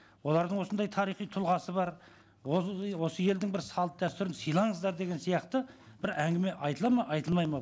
олардың осындай тарихи тұлғасы бар осы елдің бір салт дәстүрін сыйлаңыздар деген сияқты бір әңгіме айтылады ма айтылмайды ма